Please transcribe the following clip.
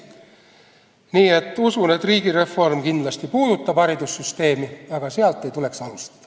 Nii et usun, et riigireform kindlasti puudutab haridussüsteemi, aga sealt ei tuleks alustada.